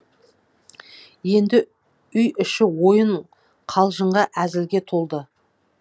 енді үй іші ойын қалжыңға әзілге толды